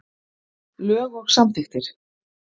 Lög og samþykktir.